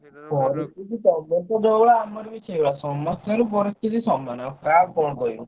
ପରିସ୍ଥିତି ତମରତ ଯୋଉ ଭଳିଆ ଆମର ବି ସେଇଭଳିଆ ସମସ୍ତଙ୍କର ପରି ସ୍ଥିତି ସମାନ ଆଉ କାହାକୁ କଣ କହିବ।